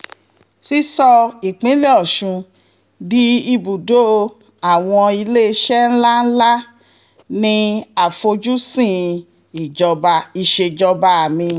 sísọ ìpínlẹ̀ ọ̀sùn di ibùdó àwọn iléeṣẹ́ ńlá ńlá ní àfojúsùn ìsejọba mi